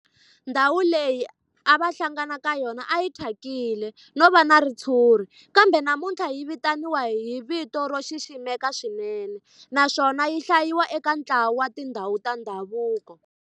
Ndhawu leyi a va hlangana ka yona a yi thyakile no va na ritshuri kambe namuntlha yi vitaniwa hi vito ro xiximeka swinene naswona yi hlayiwa eka ntlawa wa tindhawu ta ndhavuko.